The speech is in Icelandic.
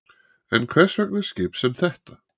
En hvers vegna skip sem þetta?